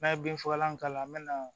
N'a ye bin fagalan k'a la an bɛ na